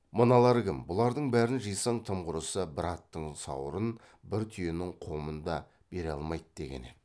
мыналар кім бұлардың бәрін жисаң тым құрысы бір аттың сауырын бір түйенің қомын да бере алмайды деген еді